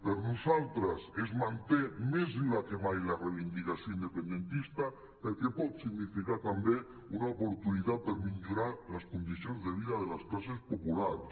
per nosaltres es manté més viva que mai la reivindicació independentista perquè pot significar també una oportunitat per millorar les condicions de vida de les classes populars